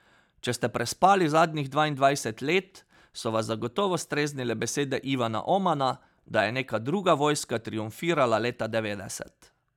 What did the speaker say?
Če ste prespali zadnjih dvaindvajset let, so vas zagotovo streznile besede Ivana Omana, da je neka druga vojska triumfirala leta devetdeset.